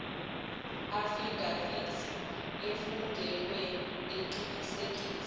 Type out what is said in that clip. afidavithi efungelwe eqinisekisa